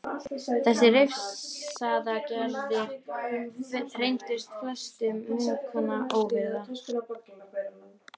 Þessar refsiaðgerðir reyndust flestum munkanna ofviða.